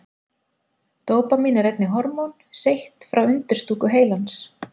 Dópamín er einnig hormón seytt frá undirstúku heilans.